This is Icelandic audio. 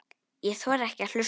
Ég þori ekki að hlusta.